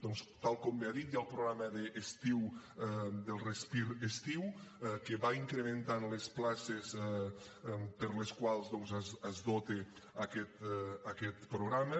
doncs tal com bé ha dit hi ha el programa del respir estiu que va incrementant les places per a les quals doncs es dota aquest programa